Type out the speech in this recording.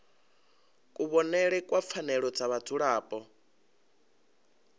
kuvhonele kwa pfanelo dza vhadzulapo